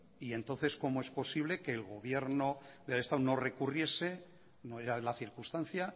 y entonces cómo se posible que el gobierno del estado no recurriese no era la circunstancia